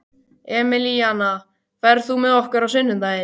Emilíana, ferð þú með okkur á sunnudaginn?